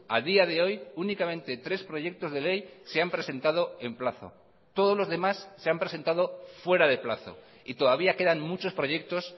a día de hoy únicamente tres proyectos de ley se han presentado en plazo todos los demás se han presentado fuera de plazo y todavía quedan muchos proyectos